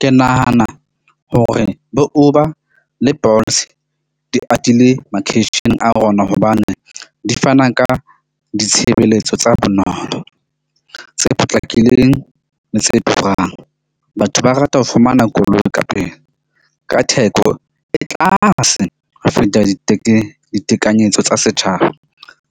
Ke nahana hore bo Uber le Bolts di atile makeisheneng a rona hobane di fana ka ditshebeletso tsa bonolo, tse potlakileng le tse turang. Batho ba rata ho fumana koloi ka pele, ka theko e tlase ho feta ditekanyetso tsa setjhaba.